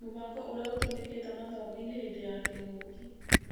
Mũbango ũrĩa ũtũmĩkĩte mathomo-inĩ hĩndĩ ya kĩng'ũki